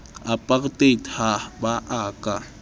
apartheid ha ba a ka